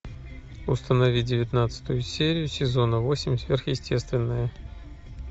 установи девятнадцатую серию сезона восемь сверхъестественное